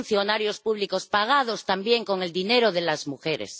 Son funcionarios públicos, pagados también con el dinero de las mujeres.